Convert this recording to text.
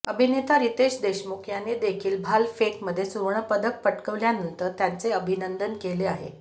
अभिनेता रितेश देशमुख याने देखील भालफेकमध्ये सुवर्णपदक पटकावल्यानंतर त्याचे अभिनंदन केले आहे